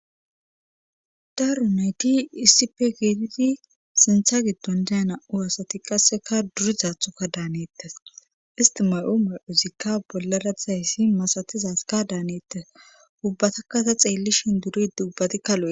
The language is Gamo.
Daaro nayti issipe geetiti sintha giddon dayana7u aasati qasseka durizathoka daanettes istimay7u ma7ozikka bollara tizayssi masatizazka daanaars ubbatakkasa xeelli shin duri dubbati kaloe.